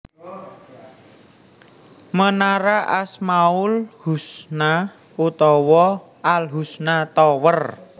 Menara Asmaul Husna utawa Al Husna Tower